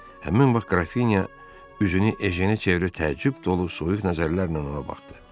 Həmin vaxt Qrafinya üzünü Ejenə çevirib təəccüb dolu soyuq nəzərlərlə ona baxdı.